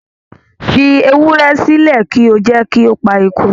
Fi ewúrẹ́ sílẹ̀ kí o jẹ́ kí ó pa eku